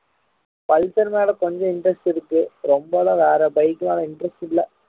pulsar மேலே கொஞ்சம் interest இருக்கு ரொம்ப எல்லாம் வேற bike லலாம் interest இல்ல